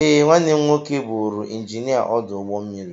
Ee, nwanne m nwoke bụụrụ injinia ọdụ ụgbọ mmiri.